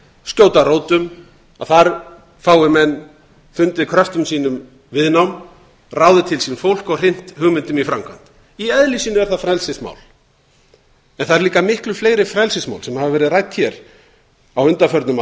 skjóta rótum að þar fái menn fundið kröftum sínum viðnám ráðið til sín fólk og hrint hugmyndum í framkvæmd í eðli sínu er það frelsismál en það áður líka miklu fleiri frelsismál sem hafa verið rædd hér á undanförnum